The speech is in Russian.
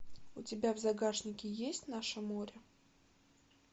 у тебя в загашнике есть наше море